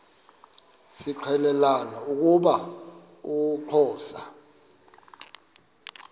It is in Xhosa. zixelelana ukuba uxhosa